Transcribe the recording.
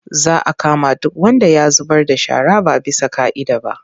Za a kama duk wanda ya zubar da shara ba bisa ƙa'ida ba.